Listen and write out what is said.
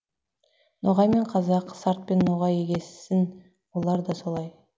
ноғай мен қазақ сартпен ноғай егессін олар да солай